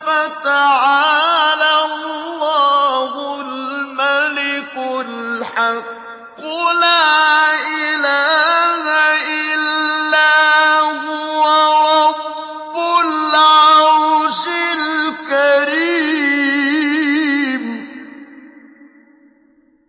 فَتَعَالَى اللَّهُ الْمَلِكُ الْحَقُّ ۖ لَا إِلَٰهَ إِلَّا هُوَ رَبُّ الْعَرْشِ الْكَرِيمِ